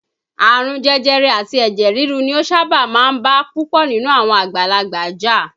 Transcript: Àrùn jẹjẹrẹ àti ẹ̀jẹ̀ rirú ni ó sábà máa ń bá púpọ̀ nínú àwọn àgbàlagbà jà.